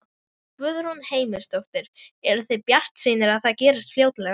Guðrún Heimisdóttir: Eruð þið bjartsýnir á að það gerist fljótlega?